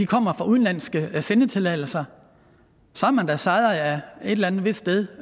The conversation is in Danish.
kommer fra udenlandske sendetilladelser så har man da sejret et eller andet vist sted